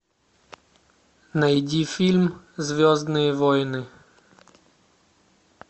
найди фильм звездные войны